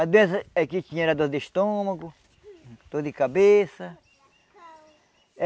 A doença eh que tinha era dor de estômago, dor de cabeça.